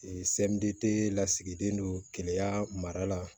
sɛmɛni tɛ lasigilen don keleya mara la